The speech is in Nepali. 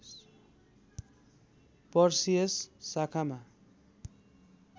पर्सियस शाखामा